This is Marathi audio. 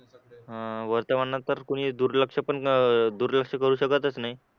हा वर्तमानात तर दुर्लक्ष कोणी दुर्लक्ष करू शकतच नाही